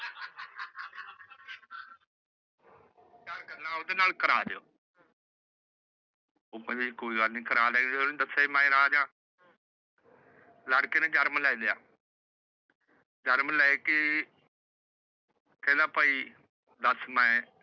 ਗੱਲਾਂ ਓਂਦੇ ਨਾਲ ਕਰਾ ਦੀਓ। ਉਹ ਕਹਿੰਦੇ ਕੋਈ ਗੱਲ ਨਹੀਂ ਜੀ ਕਰਾ ਦਿਆਂਗੇ। ਜਦੋ ਓਹਨੇ ਦੱਸਿਆ ਸੀ ਵੀ ਮੈ ਰਾਜਾ। ਲੜਕੇ ਨੇ ਜਨਮ ਲੇਲਿਆ। ਕਹਿੰਦਾ ਭਾਈ ਦੱਸ ਮੈ